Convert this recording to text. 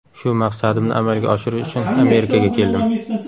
Shu maqsadimni amalga oshirish uchun Amerikaga keldim.